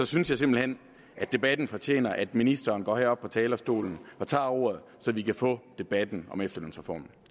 synes jeg simpelt hen at debatten fortjener at ministeren går herop på talerstolen og tager ordet så vi kan få debatten om efterlønsreformen